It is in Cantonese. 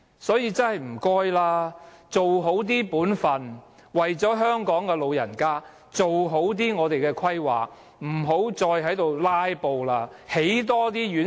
所以，拜託政府要做好本分，為了香港的長者，做好規劃，不要再"拉布"了，要多興建院舍。